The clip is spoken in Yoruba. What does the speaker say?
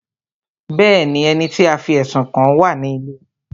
Bẹ́ẹ̀ni, ẹni tí a fí ẹ̀sùn kàn wá à ní ilé ẹjọ́